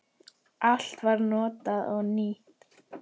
Allt var notað og nýtt.